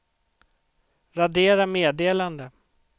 radera meddelande